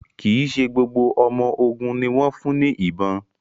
Kí ṣe gbogbo ọmọ ògún ní wón fún ní ìbọn